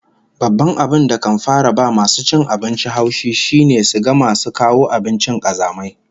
Babban abin da kan fara ba masu cin abinci haushi shine su ga masu kawo abinci kazamai